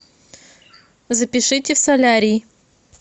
запишите в солярий